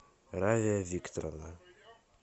рая викторовна